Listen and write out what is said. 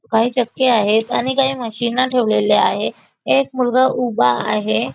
काही चक्क्या आहेत आणि काही मशिना ठेवलेल्या आहे एक मुलगा उभा आहे.